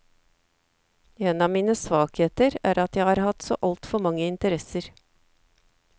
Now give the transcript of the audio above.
En av mine svakheter er at jeg har hatt så altfor mange interesser.